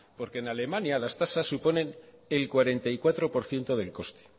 porque en alemania las tasas suponen el cuarenta y cuatro por ciento del coste